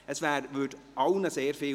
Damit wäre allen sehr gedient.